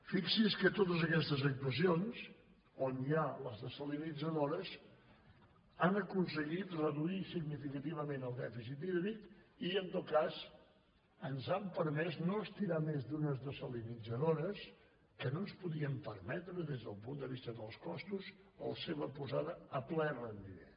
fixi’s que totes aquestes actuacions on hi ha les desalinitzadores han aconseguit reduir significativament el dèficit hídric i en tot cas ens han permès no estirar més d’unes desalinitzadores que no ens podíem permetre des del punt de vista dels costos la seva posada a ple rendiment